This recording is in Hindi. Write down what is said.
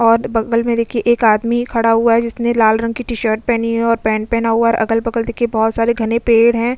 और बगल में देखिए एक आदमी खड़ा हुआ है जिसने लाल रंग की टी-शर्ट पहनी है और पैंट पहना हुआ है और अगल बगल देखिए बहुत सारे घने पेड़ हैं।